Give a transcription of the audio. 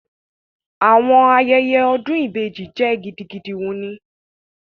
Awọn ayẹyẹ odun ibeji jẹ gidigidi wuni